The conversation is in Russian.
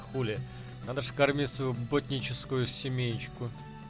хули надо ж кормить свою ботническую семеечку